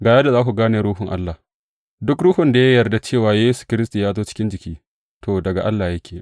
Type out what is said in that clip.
Ga yadda za ku gane Ruhun Allah, duk ruhun da ya yarda cewa Yesu Kiristi ya zo cikin jiki, to, daga Allah yake.